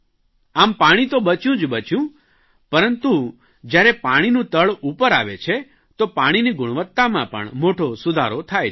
આમ પાણી તો બચ્યું જ બચ્યું પરંતુ જયારે પાણીનું તળ ઉપર આવે છે તો પાણીની ગુણવત્તામાં પણ મોટો સુધારો થાય છે